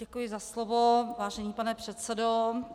Děkuji za slovo, vážený pane předsedo.